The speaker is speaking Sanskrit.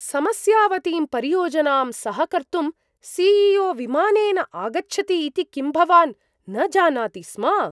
समस्यावतीं परियोजनां सहकर्तुं सि.ई.ओ. विमानेन आगच्छति इति किं भवान् न जानाति स्म?